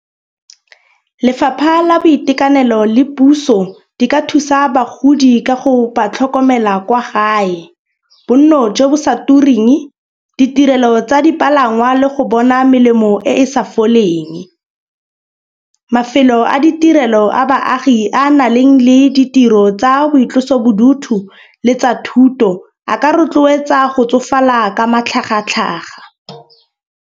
Lefapha la boitekanelo le puso di ka thusa bagodi ka go ba tlhokomela kwa gae. Bonno jo bo sa turing, ditirelo tsa dipalangwa le go bona melemo e e sa foleng. Mafelo a ditirelo a baagi a na leng le ditiro tsa boitlosobodutu le tsa thuto a ka rotloetsa go tsofala ka matlhagatlhaga.